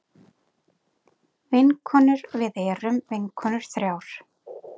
Vinkonur við erum vinkonur þrjár.